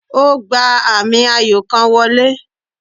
O gba ami ayo kan wọle